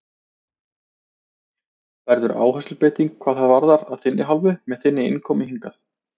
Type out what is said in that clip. Verður áherslubreyting hvað þetta varðar að þinni hálfu með þinni innkomu hingað?